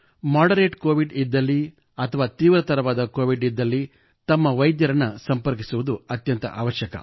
moderate COVID ಇದ್ದಲ್ಲಿ ಅಥವಾ ತೀವ್ರತರವಾದ ಕೋವಿಡ್ ಇದ್ದಲ್ಲಿ ತಮ್ಮ ವೈದ್ಯರನ್ನು ಸಂಪರ್ಕಿಸುವುದು ಅತ್ಯಂತ ಅವಶ್ಯಕ